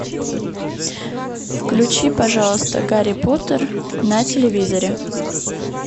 включи пожалуйста гарри поттер на телевизоре